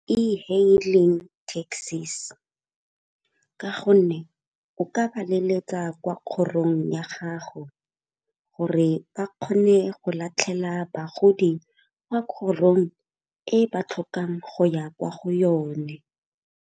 E-hailing taxis, ka gonne o ka ba leletsa kwa kgorong ya gago gore ba kgone go latlhela bagodi kwa kgorong e ba tlhokang go ya kwa go yone.